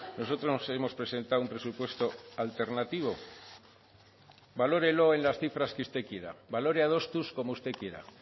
nosotros hemos presentado un presupuesto alternativo valórelo en las cifras que usted quiera valore adostuz como usted quiera